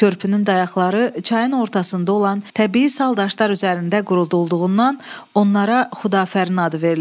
Körpünün dayağları çayın ortasında olan təbii saldaşlar üzərində qurulduğundan onlara Xudafərin adı verilib.